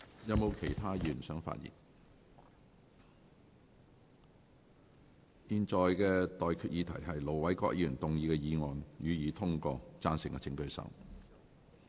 現在的待議議題是：盧偉國議員動議的議案，予以通過。